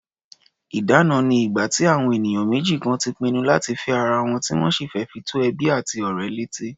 Ìdána ni ìgbà tí àwọn ènìyàn méjì kan ti pinnu láti fẹ́ ara wọn, tí wọ́n sì fi tó ẹbí àti ọ̀rẹ́ létí.